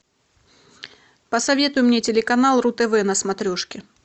посоветуй мне телеканал ру тв на смотрешке